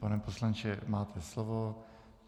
Pane poslanče, máte slovo.